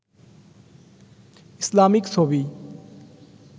Islamic ছবি